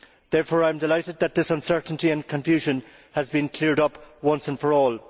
Therefore, I am delighted that this uncertainty and confusion has been cleared up once and for all.